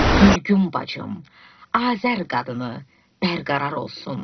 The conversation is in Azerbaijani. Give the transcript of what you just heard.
Gülgün bacım, Azər qadını, bərqərar olsun.